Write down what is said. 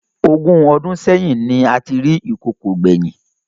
Ogún ọdún sẹyìn ni a ti rí ìkokò gbẹ̀yìn